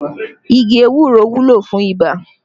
Igi ewúro wúlò fún ibà